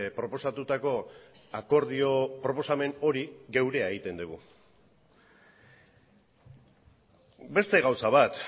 proposatutako akordio proposamen hori geurea egiten dugu beste gauza bat